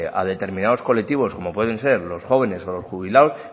a determinados colectivos como pueden ser los jóvenes o los jubilados